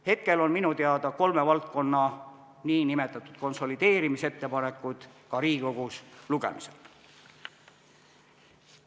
Hetkel on minu teada kolme valdkonna nn konsolideerimisettepanekud ka Riigikogus lugemisel.